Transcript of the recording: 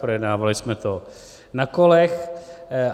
Projednávali jsme to na kolech.